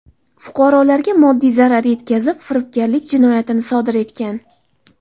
Fuqarolarga moddiy zarar yetkazib, firibgarlik jinoyatini sodir etgan.